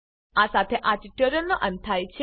આ સાથે આ ટ્યુટોરીયલનો અંત થાય છે